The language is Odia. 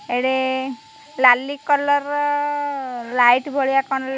ଏଡ଼େ ଲାଲି କଲର୍ ର ଲାଇଟ୍ ଭଳିଆ କଣ --